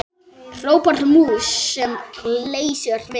hrópar mús sem leysir vind.